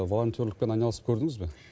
волонтерлікпен айналысып көрдіңіз бе